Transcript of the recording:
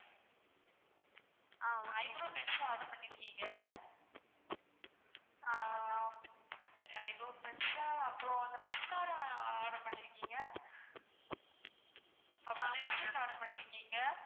eyebrow pencil order பண்ணிருக்கீங்க, ஆஹ் அப்பறம் அந்த mascara order பண்ணிருக்கீங்க. அப்பறம் lipstic order பண்ணிருகீங்க